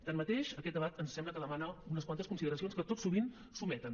tanmateix aquest debat ens sembla que demana unes quantes consideracions que tot sovint s’ometen